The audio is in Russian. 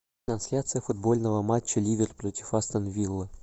трансляция футбольного матча ливер против астон вилла